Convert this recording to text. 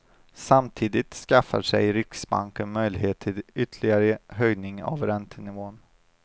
Samtidigt skaffar sig riksbanken möjlighet till ytterligare höjning av räntenivån.